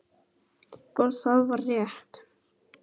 Og það var rétt.